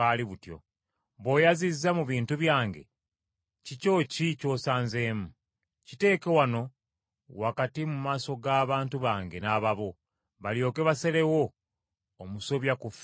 Bw’oyazizza mu bintu byange, kikyo ki ky’osanzemu? Kiteeke wano wakati mu maaso g’abantu bange n’ababo, balyoke basalewo omusobya ku fembi.